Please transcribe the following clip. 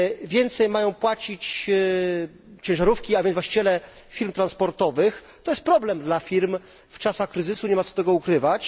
Więcej mają płacić ciężarówki, a więc właściciele firm transportowych. To jest problem dla firm w czasach kryzysu, nie ma co tego ukrywać.